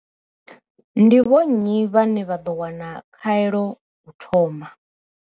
Ndi vho nnyi vhane vha ḓo wana khaelo u thoma?